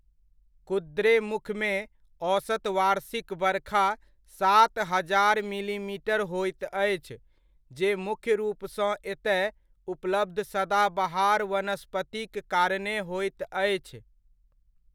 कुद्रेमुखमे औसत वार्षिक बरखा सात हजार मिलीमीटर होइत अछि, जे मुख्य रूपसँ एतय उपलब्ध सदाबहार वनस्पतिक कारणे होइत अछि।